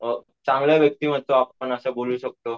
चांगलं व्यक्तिमत्व असं आपण बोलू शकतो.